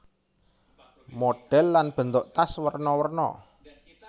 Modhèl lan bentuk tas werna werna